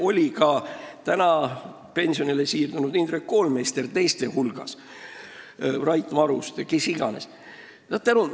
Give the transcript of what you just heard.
Muide, ka täna pensionile siirdunud Indrek Koolmeister ja Rait Maruste olid seal teiste hulgas.